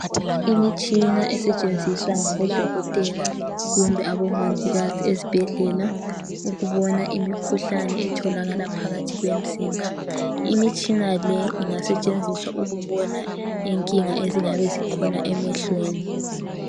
imitshina esetshenziswa ngabo dokotela kumbe abomongikazi ezibhedlela ukubona imikhuhlane etholakala phakathi kwemzimba imtshina le ingasetshenziswa ukubona inkinga ezingabe zikhona emehlweni